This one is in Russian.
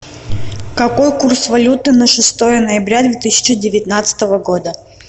какой курс валюты на шестое ноября две тысячи девятнадцатого года